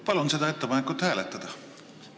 Palun seda ettepanekut hääletada!